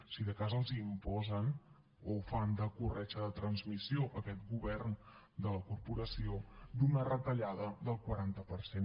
si de cas els la imposen o fan de corretja de transmissió aquest govern de la corporació d’una retallada del quaranta per cent